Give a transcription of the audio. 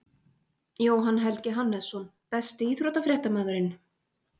jóhann helgi hannesson Besti íþróttafréttamaðurinn?